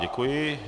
Děkuji.